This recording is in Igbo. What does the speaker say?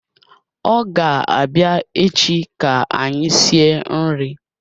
Ọ ga-abịa echi ka anyị sie nri